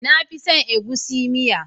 Na fi son egusi miya